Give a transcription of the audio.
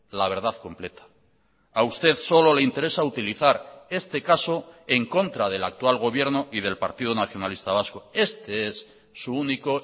la verdad completa a usted solo le interesa utilizar este caso en contra del actual gobierno y del partido nacionalista vasco este es su único